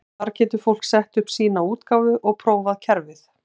Þar getur fólk sett upp sína útgáfu og prófað kerfið.